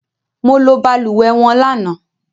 Mo ló balùwẹ́ wọn lana